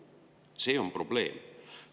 See on probleem.